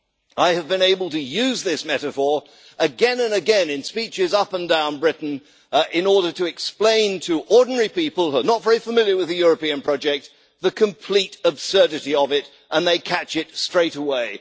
I have been able to use this metaphor again and again in speeches up and down Britain in order to explain to ordinary people who are not very familiar with the European project the complete absurdity of it, and they catch it straight away.